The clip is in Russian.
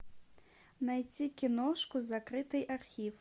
найти киношку закрытый архив